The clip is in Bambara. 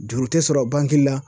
Juru tɛ sɔrɔ la